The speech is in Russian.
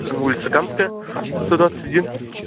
улица камская сто двадцать один